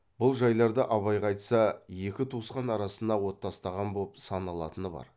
бұл жайларды абайға айтса екі туысқан арасына от тастаған боп саналатыны бар